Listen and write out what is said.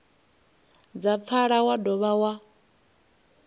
dza pfala wa dovha wa